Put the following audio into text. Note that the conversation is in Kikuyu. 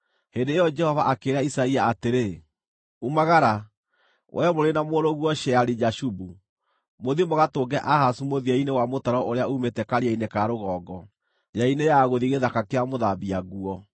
Hĩndĩ ĩyo Jehova akĩĩra Isaia atĩrĩ, “Umagara, wee mũrĩ na mũrũguo Sheari-Jashubu, mũthiĩ mũgatũnge Ahazu mũthia-inĩ wa mũtaro ũrĩa uumĩte Karia-inĩ ka Rũgongo, njĩra-inĩ ya gũthiĩ Gĩthaka kĩa Mũthambia-Nguo.